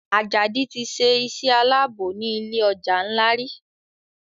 Ajadi tí ṣe iṣé Àlàbò ní ilé ọjà nla rí.